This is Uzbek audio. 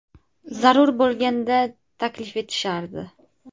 Zarur bo‘lganda, taklif etishardi.